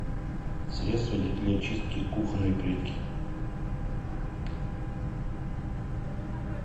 средство для чистки кухонной плитки